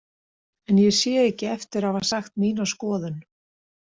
En ég sé ekki eftir að hafa sagt mína skoðun.